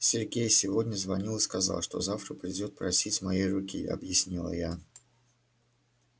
сергей сегодня звонил и сказал что завтра придёт просить моей руки объяснила я